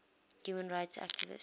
human rights activists